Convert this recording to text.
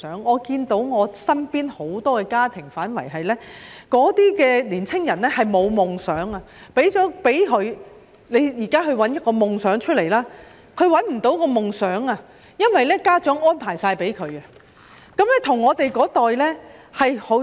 我看到身邊很多家庭的年輕人沒有夢想，即使給他們錢，請他們尋找夢想，他們也找不到，因為家長甚麼也為他們作好安排。